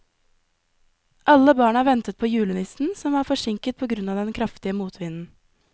Alle barna ventet på julenissen, som var forsinket på grunn av den kraftige motvinden.